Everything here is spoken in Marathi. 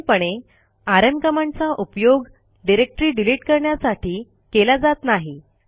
साधारणपणे आरएम कमांडचा उपयोग डिरेक्टरी डिलिट करण्यासाठी केला जात नाही